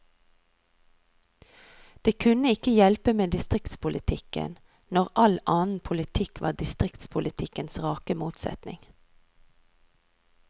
Det kunne ikke hjelpe med distriktspolitikken, når all annen politikk var distriktspolitikkens rake motsetning.